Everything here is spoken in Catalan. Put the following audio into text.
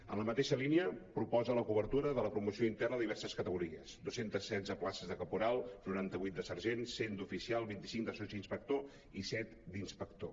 en la mateixa línia proposa la cobertura de la promoció interna a diverses categories dos cents i setze places de caporal noranta vuit de sergent cent d’oficial vint cinc de sotsinspector i set d’inspector